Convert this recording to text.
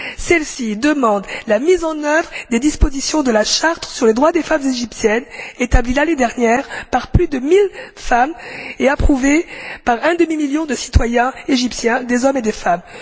Elles demandent la mise en œuvre des dispositions de la Charte sur les droits des femmes égyptiennes, établie l'année dernière par plus d'un millier de femmes et approuvée par un demi million de citoyens égyptiens, hommes et femmes.